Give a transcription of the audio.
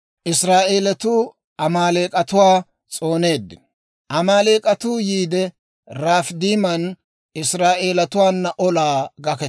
Amaaleek'atuu yiide, Rafiidiman Israa'eelatuwaana olaa gaketeeddino.